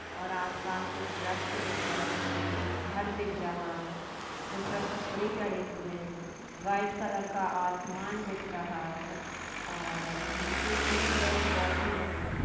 और आसपास कुछ वृक्ष दिख रहे है एक घर दिख रहा है जिस पर कपड़े चढे हुए है व्हाइट कलर का आसमान दिख रहा है और नीचे कुछ पौधे लगे है।